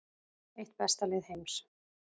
Eitt besta lið heims